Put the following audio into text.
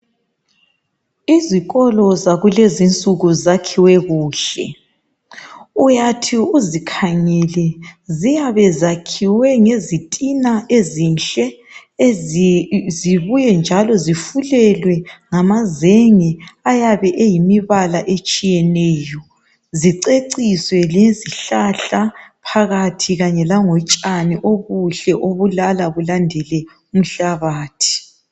izikolo zakulezinsuku zakhiwe kuhle uyathi uzikhangele ziyabe ziyakhiwe ngezitina ezinhle zibuye njalo zifulelwe ngamazenge ayabe eyimibala etshiyeneyo ziceciswe ngezihlahla phakathi kanye langotshani buhle obulala bulandele umhlabathi